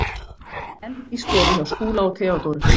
Enn í stofu hjá Skúla og Theodóru.